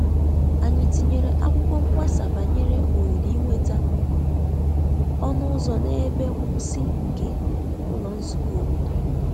Anyi tinyere akwụkwo mgbasa banyere ohere inweta ọnụ ụzọ na-ebe nkwusi nke ụlọ nzụkọ obodo.